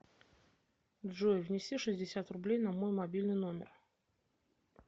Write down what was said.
джой внеси шестьдесят рублей на мой мобильный номер